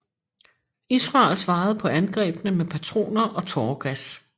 Israel svarede på angrebene med patroner og tåregas